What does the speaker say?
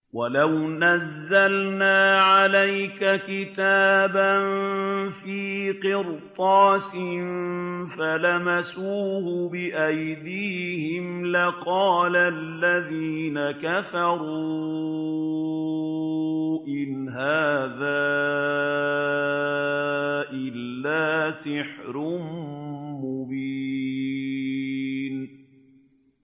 وَلَوْ نَزَّلْنَا عَلَيْكَ كِتَابًا فِي قِرْطَاسٍ فَلَمَسُوهُ بِأَيْدِيهِمْ لَقَالَ الَّذِينَ كَفَرُوا إِنْ هَٰذَا إِلَّا سِحْرٌ مُّبِينٌ